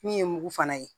Min ye mugu fana ye